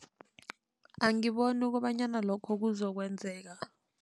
Angiboni kobanyana lokho kuzokwenzeka.